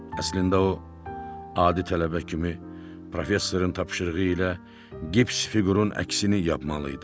Əslində o, adi tələbə kimi professorun tapşırığı ilə qips fiqurun əksini yapmalı idi.